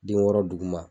Den wɔɔrɔ duguma